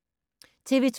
TV 2